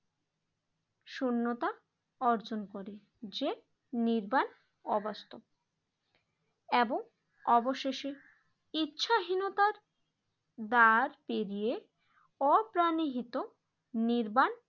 শূন্যতা অর্জন করে যে নির্বাক অবাস্তব এবং অবশেষে ইচ্ছাহীনতার দ্বার পেরিয়ে অপ্রাণিহিত নির্বান